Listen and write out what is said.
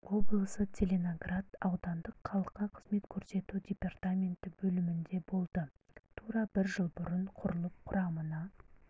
облысы целиноград аудандық халыққа қызмет көрсету департаменті бөлімінде болды тура бір жыл бұрын құрылып құрамына